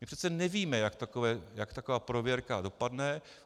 My přece nevíme, jak taková prověrka dopadne.